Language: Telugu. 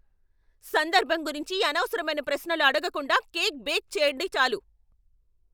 సందర్భం గురించి అనవసరమైన ప్రశ్నలు అడగకుండా కేక్ బేక్ చెయ్యండి చాలు.